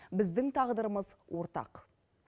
біздің тағдырымыз ортақ